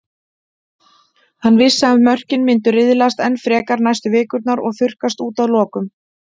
Hann vissi að mörkin myndu riðlast enn frekar næstu vikurnar og þurrkast út að lokum.